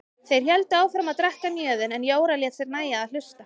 Þeir héldu áfram að drekka mjöðinn en Jóra lét sér nægja að hlusta.